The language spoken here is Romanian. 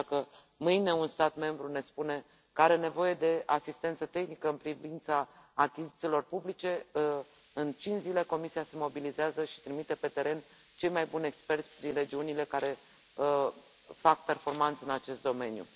deci, dacă mâine un stat membru ne spune că are nevoie de asistență tehnică în privința achizițiilor publice, în cinci zile Comisia se mobilizează și trimite pe teren cei mai buni experți din regiunile care fac performanță în acest domeniu.